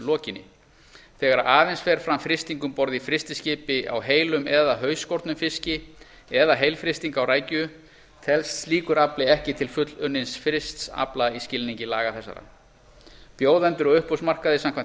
lokinni þegar aðeins fer fram frysting um borð í frystiskipi á heilum eða hausskornum fiski eða heilfrysting á rækju telst slíkur afli ekki til fullunnins frysts afla í skilningi laga þessara bjóðendur á uppboðsmarkaði samkvæmt